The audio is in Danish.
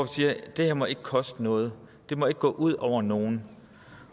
siger det her må ikke koste noget det må ikke gå ud over nogen